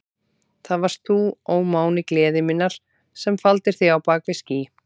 Það varst þú, ó máni gleði minnar, sem faldir þig á bak við ský.